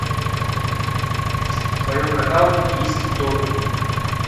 в твоем каталоге есть догвилль